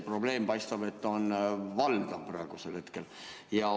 Nii et paistab, et see probleem on praegusel hetkel valdav.